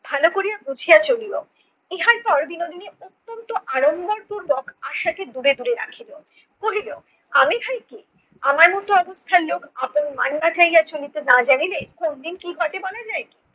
ভালো করিয়া বুঝিয়া চলিও। ইহার পর বিনোদিনী অত্যন্ত আরম্বর পূর্বক আশাকে দূরে দূরে রাখিলো। কহিল- আমি ভাই কে আমার মতো অবস্থার লোক আপন চলিতে না জানিলে কোনদিন কী ঘটে বলা যায় কী?